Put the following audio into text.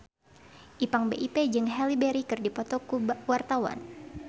Ipank BIP jeung Halle Berry keur dipoto ku wartawan